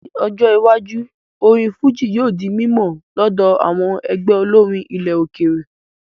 Ní ọjọ́ iwájú, orin fújì yóò di mímọ̀ lọ́dọ̀ àwọn ẹgbẹ́ olórin ilẹ̀ òkèèrè